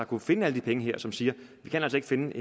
kunnet finde alle de penge her og som siger vi kan altså ikke finde